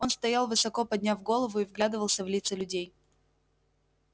он стоял высоко подняв голову и вглядывался в лица людей